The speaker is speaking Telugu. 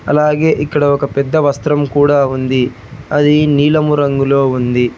అలాగే ఇక్కడ ఒక పెద్ద వస్త్రం కూడా ఉంది అది నీలము రంగులో ఉంది